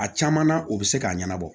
A caman na u bɛ se k'a ɲɛnabɔ